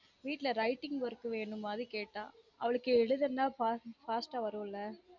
வீட்ல writing work வேணும் மாதிரி கேட்டா அவளுக்கு எழுதனும் fast அ வரும்ல